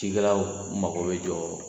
Ci kɛlaw mago bɛ jɔ